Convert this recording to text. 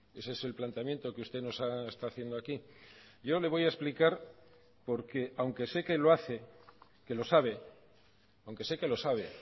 ese es el planteamiento que usted nos está haciendo aquí yo le voy a explicar porque aunque sé que lo hace que lo sabe aunque sé que lo sabe